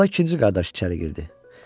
Onda ikinci qardaş içəri girdi.